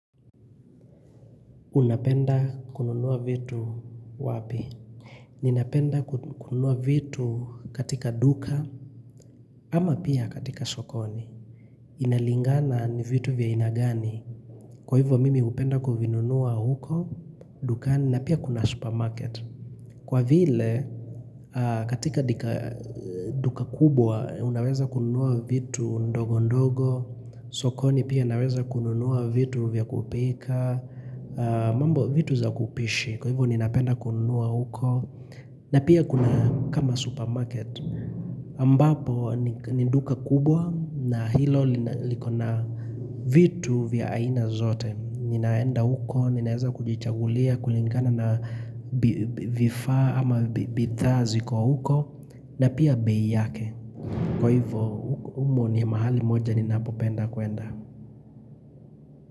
Unapenda kununua vitu wapi? Ninapenda kununua vitu katika duka, ama pia katika sokoni. Inalingana ni vitu vya ainagani. Kwa hivo mimi upenda kuvinunua huko, dukani, na pia kuna supermarket. Kwa vile, katika duka kubwa, unaweza kununua vitu ndogo ndogo, sokoni pia naweza kununua vitu vya kupika, mambo vitu za kupishi Kwa hivyo ninapenda kunua huko na pia kuna kama supermarket ambapo ninduka kubwa na hilo likona vitu vya aina zote Ninaenda huko, ninaeza kujichagulia kulingana na vifaa ama bidhaa ziko huko na pia bei yake Kwa hivyo umo ni mahali moja ninapopenda kuenda.